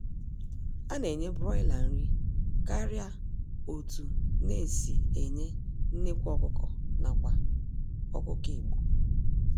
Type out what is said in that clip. A na-enye Broiler nri karịa otunn e si enye nnekwu ọkụkọ nakwa ọkụkọ Igbo.